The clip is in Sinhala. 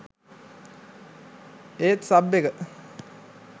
ඒත් සබ් එක